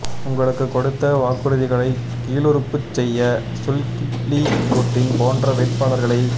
உங்களுக்குக் கொடுத்த வாக்குறுதிகளைக் கீழறுப்புச் செய்ய சுல்கிப்லி நூர்டின் போன்ற வேட்பாளர்களை